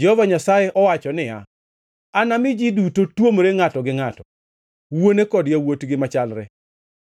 Jehova Nyasaye owacho niya, Anami ji duto tuomre ngʼato gi ngʼato, wuone kod yawuotgi machalre.